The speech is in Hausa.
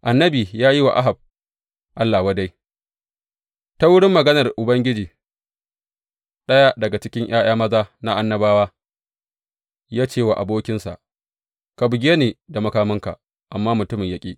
Annabi ya yi wa Ahab Allah wadai Ta wurin maganar Ubangiji, ɗaya daga cikin ’ya’ya maza na annabawa ya ce wa abokinsa, Ka buge ni da makaminka, amma mutumin ya ƙi.